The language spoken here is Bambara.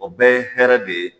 O bɛɛ ye hɛrɛ de ye